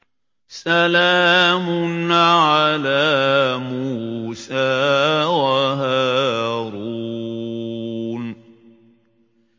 سَلَامٌ عَلَىٰ مُوسَىٰ وَهَارُونَ